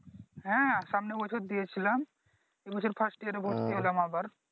হ্যাঁ সামনের বছর দিয়েছিলাম এই বছর First year ভর্তি হলাম আবার।